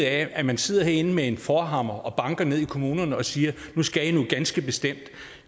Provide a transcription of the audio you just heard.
af at man sidder herinde med en forhammer og banker ned i kommunerne og siger at nu skal de noget ganske bestemt